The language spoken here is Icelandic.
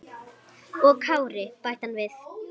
Og Kári, bætti hann við.